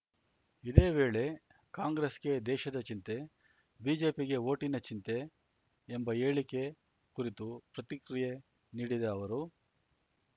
ಇದೇ ವೇಳೆ ಕಾಂಗ್ರೆಸ್‌ಗೆ ದೇಶದ ಚಿಂತೆ ಬಿಜೆಪಿಗೆ ಓಟಿನ ಚಿಂತೆ ಎಂಬ ಹೇಳಿಕೆ ಕುರಿತೂ ಪ್ರತಿಕ್ರಿಯೆ ನೀಡಿದ ಅವರು